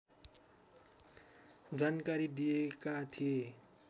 जानकारी दिएका थिए